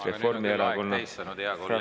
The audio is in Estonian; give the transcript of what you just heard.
Aga nüüd on teil aeg täis saanud, hea kolleeg.